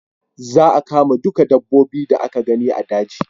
Za a kama duka dabbobi da aka gani a daji